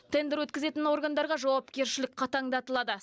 тендер өткізетін органдарға жауапкершілік қатаңдатылады